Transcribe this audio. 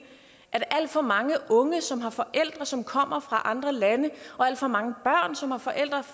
at alt for mange unge som har forældre som kommer fra andre lande og alt for mange børn som har forældre